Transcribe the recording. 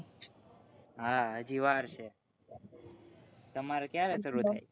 હા હજી વાર છે તમારે ક્યારે શરૂ